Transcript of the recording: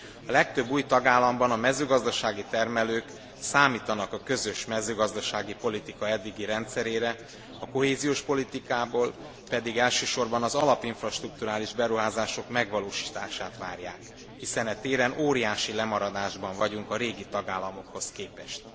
A legtöbb új tagállamban a mezőgazdasági termelők számítanak a közös mezőgazdasági politika eddigi rendszerére, a kohéziós politikából pedig elsősorban az alap infrastrukturális beruházások megvalósítását várják, hiszen e téren óriási lemaradásban vagyunk a régi tagállamokhoz képest.